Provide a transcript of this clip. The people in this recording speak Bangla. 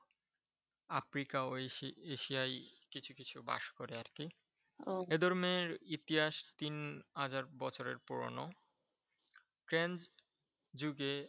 আফ্রিকা ও এশিয়ায় কিছু কিছু বাস করে আর কি এ ধর্মের ইতিহাস তিন হাজার বছরের পুরনো। ফ্রেন্স যুগে